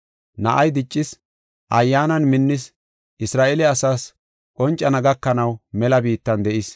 Na7ay diccis, Ayyaanan minnis, Isra7eele asaas qoncana gakanaw mela biittan de7is.